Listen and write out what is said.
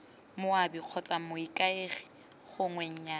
moabi kgotsa moikaegi gongwe nnyaya